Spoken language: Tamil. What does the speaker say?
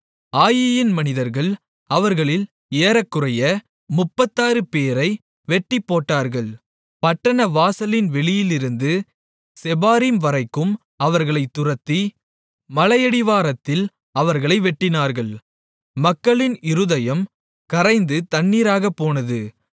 ஆயீயின் மனிதர்கள் அவர்களில் ஏறக்குறைய முப்பத்தாறுபேரை வெட்டிப்போட்டார்கள் பட்டணவாசலின் வெளியிலிருந்து செபாரீம் வரைக்கும் அவர்களைத் துரத்தி மலையடிவாரத்தில் அவர்களை வெட்டினார்கள் மக்களின் இருதயம் கரைந்து தண்ணீராகப்போனது